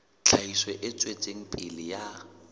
tlhahiso e tswetseng pele ya